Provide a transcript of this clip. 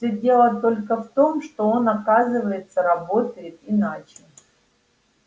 всё дело только в том что он оказывается работает иначе